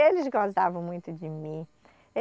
Eles gozavam muito de mim.